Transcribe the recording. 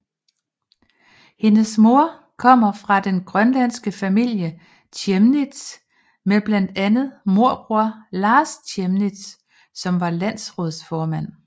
Hendes mor kommer fra den grønlandske familie Chemnitz med blandt andet morbror Lars Chemnitz som var landsrådsformand